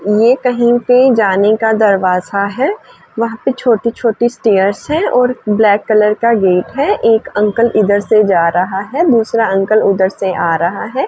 यह कहीं पर जाने का दरवाजा है। वहां पर छोटी-छोटी स्टैर्स हैं और ब्लैक का गेट है एक अंकल इधर से जा रहा है। दूसरा अंकल उधर से आ रहा है।